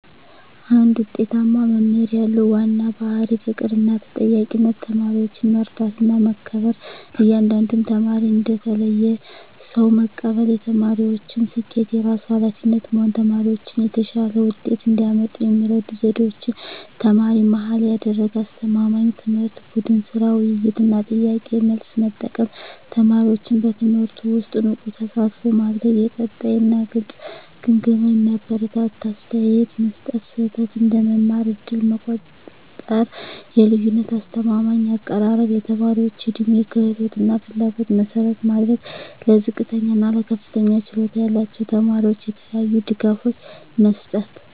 አንድ ውጤታማ መምህር ያለው ዋና ባሕርይ ፍቅርና ተጠያቂነት ተማሪዎችን መረዳትና መከበር እያንዳንዱን ተማሪ እንደ ተለየ ሰው መቀበል የተማሪዎችን ስኬት የራሱ ኃላፊነት መሆን ተማሪዎች የተሻለ ውጤት እንዲያመጡ የሚረዱ ዘዴዎች ተማሪ-መሃል ያደረገ አስተማማኝ ትምህርት ቡድን ሥራ፣ ውይይት እና ጥያቄ–መልስ መጠቀም ተማሪዎችን በትምህርቱ ውስጥ ንቁ ተሳትፎ ማድረግ የቀጣይ እና ግልጽ ግምገማ የሚያበረታታ አስተያየት መስጠት ስህተት እንደ መማር ዕድል መቆጠር የልዩነት አስተማማኝ አቀራረብ የተማሪዎች ዕድሜ፣ ክህሎት እና ፍላጎት መሠረት ማድረግ ለዝቅተኛ እና ለከፍተኛ ችሎታ ያላቸው ተማሪዎች የተለያዩ ድጋፎች መስጠት